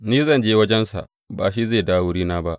Ni zan je wajensa, ba shi zai dawo wurina ba.